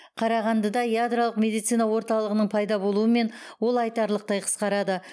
қарағандыда ядролық медицина орталығының пайда болуымен ол айтарлықтай қысқарады